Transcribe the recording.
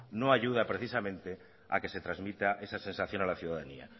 no ayuda precisamente a que se transmita esa sensación a la ciudadanía